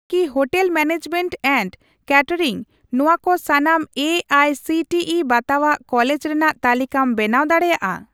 ᱠᱤ hotel management and catering ᱱᱚᱣᱟ ᱠᱚ ᱥᱟᱱᱟᱢ A I C T E ᱵᱟᱛᱟᱣᱟᱜ ᱠᱚᱞᱮᱡᱽ ᱨᱮᱱᱟᱜ ᱛᱟᱞᱤᱠᱟᱢ ᱵᱮᱱᱟᱣ ᱫᱟᱲᱮᱭᱟᱜᱼᱟ ᱾